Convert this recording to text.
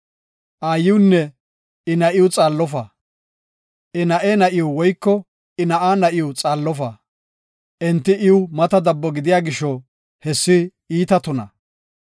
“Aayiwunne I na7iw xaallofa; I na7e na7iw woyko I na7aa na7iw xaallofa. Enti iw mata dabbo gidiya gisho, hessi iita tuna.